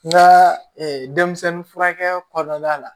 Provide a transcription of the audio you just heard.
N ka denmisɛnnin furakɛ kɔnɔna la